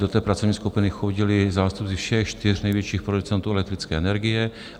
Do té pracovní skupiny chodili zástupci všech čtyř největších producentů elektrické energie.